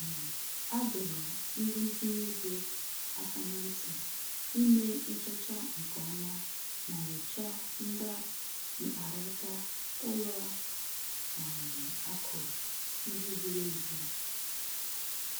um A dọrọ ndị ntinye ego aka na ntị ime nchọcha nke ọma ma nyochaa ngwa mkparaka ụlọ um akụ ndị zịrị ezi